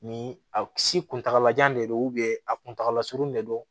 Ni a si kuntagala jan de don a kuntagalasurun de don